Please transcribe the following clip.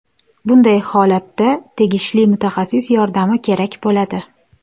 Bunday holatda tegishli mutaxassis yordami kerak bo‘ladi.